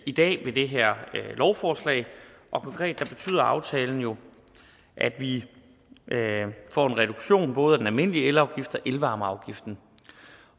i dag ved det her lovforslag og konkret betyder aftalen jo at vi får en reduktion både af den almindelige elafgift og elvarmeafgiften